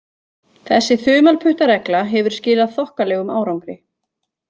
Þessi þumalputtaregla hefur skilað þokkalegum árangri.